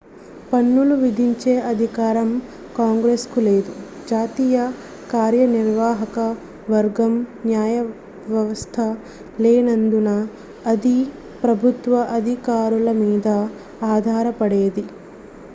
పన్నులు విధించే అధికారం కాంగ్రెస్ కు లేదు జాతీయ కార్యనిర్వాహక వర్గం న్యాయవ్యవస్థ లేనందున అది ప్రభుత్వ అధికారులమీద ఆధారపడేది